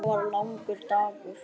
Þetta var langur dagur.